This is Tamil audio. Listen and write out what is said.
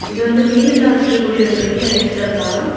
இது வந்து மீனெல்லாம் வச்சிருக்க கூடிய ஒரு பெரிய ஐஸ் டப்பா.